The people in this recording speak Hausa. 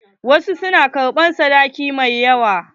Wasu na ƙarɓan sadaki mai yawa.